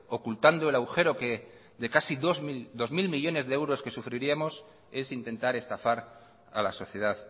ocultando el agujero de casi dos mil millónes de euros que sufriríamos es intentar estafar a la sociedad